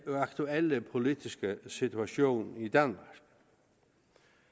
aktuelle politiske situation i danmark